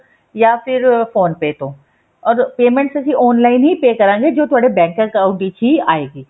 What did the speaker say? ਜਾਂ ਫ਼ਿਰ phone pay ਤੋਂ or payment ਅਸੀਂ online ਹੀ pay ਕਰਾਂਗੇ ਜੋ ਤੁਹਾਡੇ ਬੈੰਕ account ਵਿੱਚ ਹੀ ਆਏਗੀ